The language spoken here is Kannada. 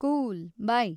Cool, by.